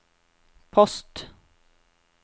post